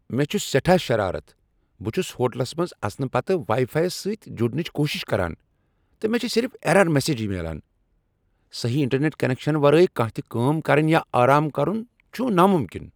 مے٘ چھٗ سیٹھاہ شرارت۔ بہٕ چھس ہوٹلس منٛز اژنہٕ پتہٕ واٮٔی فایی یس سٕتہِ جڑنٕچ کوُشش کران، تہٕ مےٚ چھ صرف ایرر میسیجہِ میلان ۔ میلان۔ سہی انٹرنیٹ کنیکشنہٕ ورٲے کانٛہہ تہ کٲم کرٕنہِ یا آرام کرٗن تام نامٗمکِن۔